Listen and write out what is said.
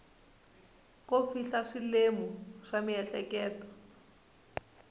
ko fihla swilemu swa miehleketo